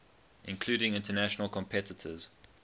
including international competitors